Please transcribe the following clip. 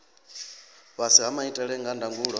fhasi ha maitele a ndangulo